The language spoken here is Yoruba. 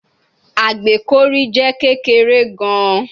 Agbekọri jẹ kekere gan